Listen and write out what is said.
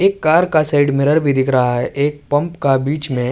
ایک کار کا side mirror بھی دیکھ رہا ہے۔ ایک پمپ کا بیچ مے --